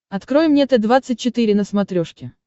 открой мне т двадцать четыре на смотрешке